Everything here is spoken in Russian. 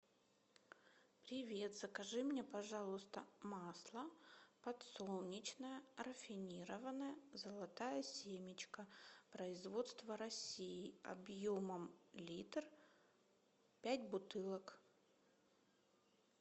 привет закажи мне пожалуйста масло подсолнечное рафинированное золотая семечка производство россии объемом литр пять бутылок